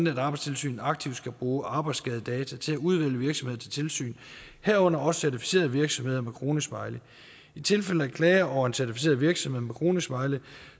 at arbejdstilsynet aktivt skal bruge arbejdsskadedata til at udvælge virksomheder til tilsyn herunder også certificerede virksomheder med kronesmiley i tilfælde af klager over en certificeret virksomhed med kronesmiley